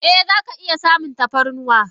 Eh zaka iya samun tafarnuwa.